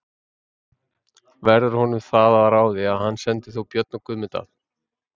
Verður honum það að ráði að hann sendir þá Björn og Guðmund að